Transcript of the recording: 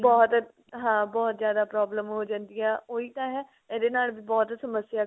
ਬਹੁਤ ਹਾਂ ਬਹੁਤ ਜਿਆਦਾ problem ਹੋ ਜਾਂਦੀ ਹੈ ਓਹੀ ਤਾਂ ਹੈ ਇਹਦੇ ਨਾਲ ਵੀ ਬਹੁਤ ਸਮੱਸਿਆ